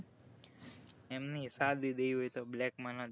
એમની સાદી દેવી હોય તો black માં ના દેવી